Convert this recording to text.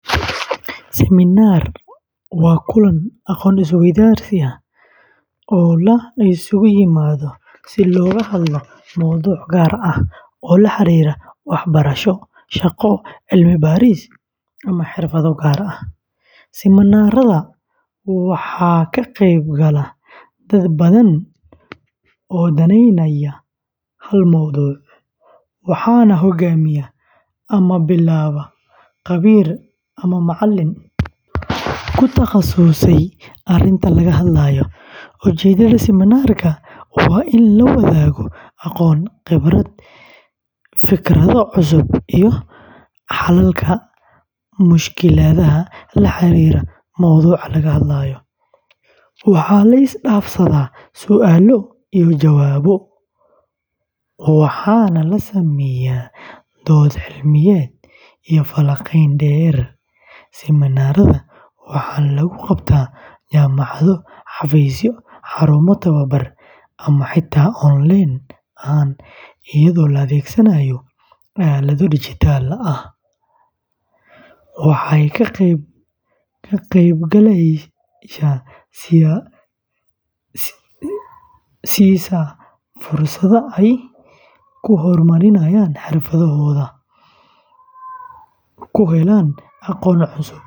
Seminar waa kulan aqoon-isweydaarsi ah oo la isugu yimaado si looga hadlo mowduuc gaar ah oo la xiriira waxbarasho, shaqo, cilmi-baaris, ama xirfado gaar ah. Seminaarada waxaa ka qeyb gala dad badan oo danaynaya hal mowduuc, waxaana hoggaamiya ama billaaba khabiir ama macallin ku takhasusay arrinta laga hadlayo. Ujeedada seminaarka waa in la wadaago aqoon, khibrad, fikrado cusub, iyo xalalka mushkiladaha la xiriira mowduuca laga hadlayo. Waxaa la is dhaafsadaa su’aalo iyo jawaabo, waxaana la sameeyaa dood cilmiyeed iyo falanqayn qoto dheer. Seminaarada waxaa lagu qabtaa jaamacado, xafiisyo, xarumo tababar, ama xitaa onleen ahaan iyadoo la adeegsanayo aaladaha dijitaalka ah. Waxay ka qeybgalayaasha siisaa fursad ay ku horumariyaan xirfadahooda.